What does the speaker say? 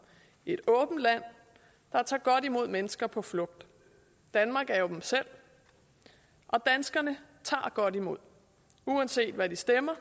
et åbent land der tager godt imod mennesker på flugt danmark er jo dem selv og danskerne tager godt imod uanset hvad de stemmer